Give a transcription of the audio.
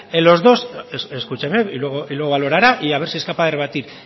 en los dos escúcheme y luego lo valorará y a ver si es capaz de rebatir